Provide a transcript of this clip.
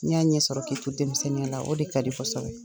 N'i y'a ɲɛ sɔrɔ k'i to denmisɛnninya la, o de ka di